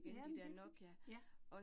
Ja, men det, ja